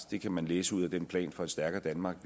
det kan man læse ud af den plan for et stærkere danmark